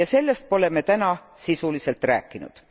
Ja sellest pole me täna sisuliselt rääkinud.